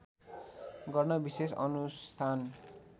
गर्न विशेष अनुष्ठान